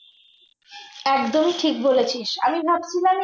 একদমই ঠিক বলেছিস আমি ভাবছিলাম